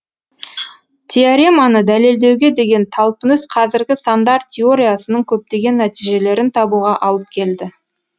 теореманы дәлелдеуге деген талпыныс қазіргі сандар теориясының көптеген нәтижелерін табуға алып келді